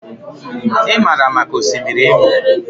I maara maka Osimiri Imo.